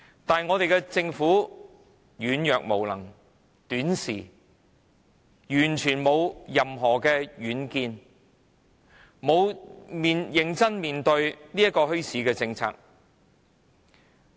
但我們的政府軟弱、無能、短視，毫無任何遠見，從沒有認真看待墟市政策。